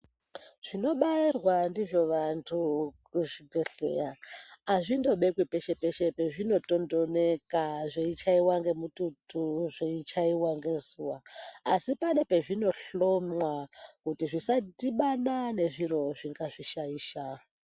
Zvinobairwa ndizvo vantu kuzvibhedhlera azvindobekwi peshe peshe pazvinotondonheka zvichaiwa ngemututu zveichaiwa ngezuwa asi pane pazvinohlomwa kuti zvisadhibana nezviro zvingazvishaisha .